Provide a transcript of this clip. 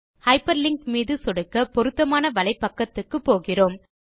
hyper link மீது சொடுக்க பொருத்தமான வலைப்பக்கத்துக்கு போகிறோம்